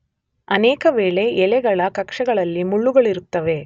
ಅನೇಕ ವೇಳೆ ಎಲೆಗಳ ಕಕ್ಷಗಳಲ್ಲಿ ಮುಳ್ಳುಗಳಿರುತ್ತವೆ.